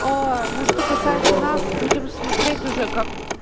ну что касается нас будем смотреть уже как